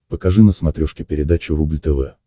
покажи на смотрешке передачу рубль тв